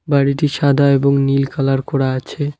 বাড়িটি সাদা এবং নীল কালার করা আছে।